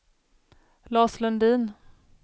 Lars Lundin